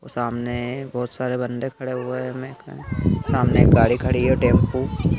सामने बहोत सारे बंदे खड़े हुए हमें सामने गाड़ी खड़ी है टेंपू--